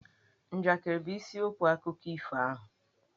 Njakịrị bụ isiokwu akụkọ ifo ahụ.